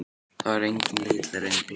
Það var engin leið að reyna að plata hana.